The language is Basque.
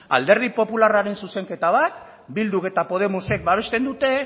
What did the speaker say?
alderdi popularraren zuzenketa bat bilduk eta podemosek basten dute